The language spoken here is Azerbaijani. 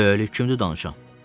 Böyük köhnə danışan.